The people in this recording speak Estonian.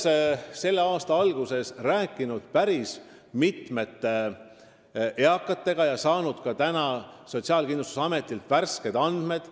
Rääkisin selle aasta alguses päris mitme eakaga ja sain täna Sotsiaalkindlustusametilt ka värsked andmed.